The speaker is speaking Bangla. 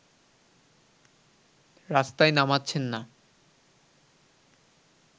রাস্তায় নামাচ্ছেন না